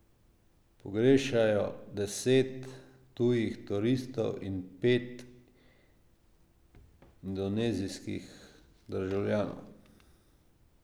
Pogrešajo deset tujih turistov in pet indonezijskih državljanov.